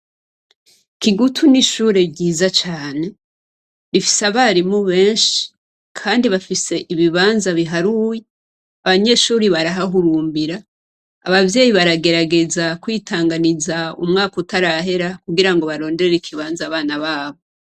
Kigutu ni ishure ryiza cane. Rifise abarimu benshi, kandi bafise ibibanza biharuye, abanyeshure barahahurumbira, abavyeyi baragerageza kwitanganiza umwaka utarahera, kugirango baronderere ikibanza abana babo.